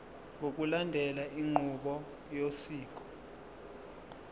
ngokulandela inqubo yosiko